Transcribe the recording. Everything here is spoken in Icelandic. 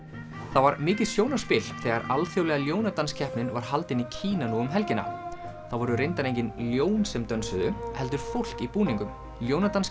það var mikið sjónarspil þegar alþjóðlega ljónadanskeppnin var haldin í Kína nú um helgina það voru reyndar engin ljón sem dönsuðu heldur fólk í búningum